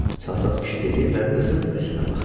Çalsat kişi dedi və qızın üzünə baxdı.